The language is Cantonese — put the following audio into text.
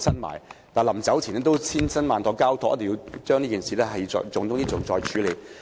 他去世前曾千辛萬苦交託，一定要將這件事作為重中之重來處理。